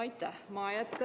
Aitäh!